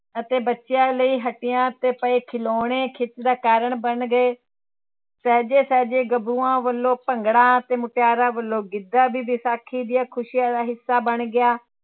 ਅਤੇ ਬੱਚਿਆਂ ਲਈ ਹੱਟੀਆਂ ਤੇ ਪਏ ਖਿਲੋਣੇ ਖਿੱਚ ਦਾ ਕਾਰਨ ਬਣ ਗਏ, ਸਹਿਜੇ ਸਹਿਜੇ ਗੱਭਰੂਆਂ ਵੱਲੋਂ ਭੰਗੜਾ ਤੇ ਮੁਟਿਆਰਾਂ ਵੱਲੋਂ ਗਿੱਧਾ ਵੀ ਵਿਸਾਖੀ ਦੀਆਂ ਖ਼ੁਸ਼ੀਆਂ ਦਾ ਹਿੱਸਾ ਬਣ ਗਿਆ।